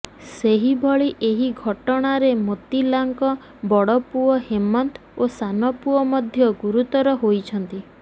ସେହିଭଳି ଏହି ଘଟଣାରେ ମୋତିଲାଙ୍କ ବଡ଼ପୁଅ ହେମନ୍ତ ଓ ସାନପୁଅ ମଧ୍ୟ ଗୁରୁତର ହୋଇଛନ୍ତି